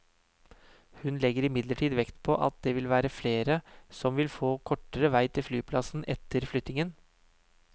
Hun legger imidlertid vekt på at det vil være flere som vil få kortere vei til flyplassen etter flyttingen.